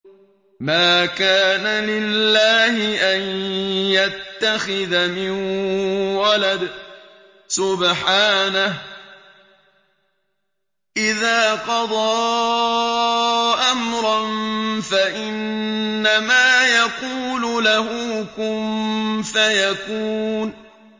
مَا كَانَ لِلَّهِ أَن يَتَّخِذَ مِن وَلَدٍ ۖ سُبْحَانَهُ ۚ إِذَا قَضَىٰ أَمْرًا فَإِنَّمَا يَقُولُ لَهُ كُن فَيَكُونُ